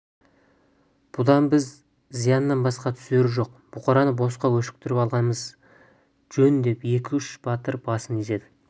бұдан бізге зияннан басқа түсері жоқ бұқараны босқа өшіктіріп аламыз жөн деп екі-үш батыр басын изеді